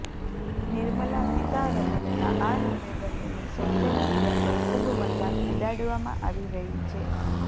નિર્મલા સીતારમનના આ નિવેદનની સોશિયલ મીડિયા પર ખૂબ મજાક ઉડાવવામાં આવી રહી છે